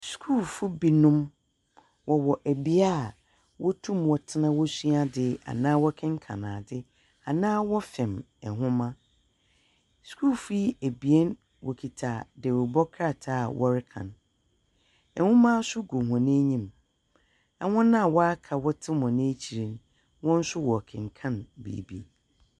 Sukuufo binom, wɔwɔ ɛbea a wɔtum wɔtena wɔsuade, anaa wɔkenkan ade, anaa wɔfɛm nhoma. Sukuufo yi abien wɔkita dawurubɔ krataa a wɔrekan. Nhoma nso gu wɔn anim. Na wɔn a waka wɔte wɔn wɔn akyire no, wɔn nso wɔkenkan biibi.